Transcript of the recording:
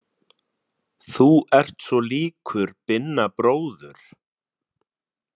Þú ert svo líkur Binna bróður.